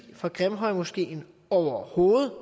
for grimhøjmoskeen overhovedet